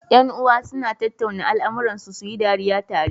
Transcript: Yan uwa suna tattauna al amuran su, suyi dariya tare